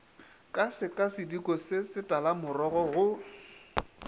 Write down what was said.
ka sekasediko se setalamorogo go